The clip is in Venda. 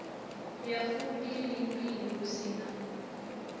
ya fumbilimbili hu si na